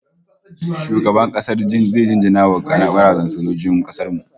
Shugaban kasa zai jinjina wa gwarazan sojojin kasar mu